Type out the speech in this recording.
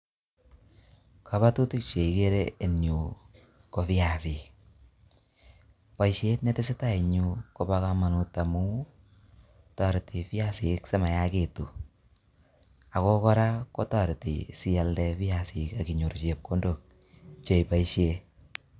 Kabatutik cheikere eng yu ko viasik boisiet netesetai en yu kobo kamanut amuu toreti piasik sim yaakitu ako kora kotoreti sialde piasik inyoru chepkondok cheiboisie.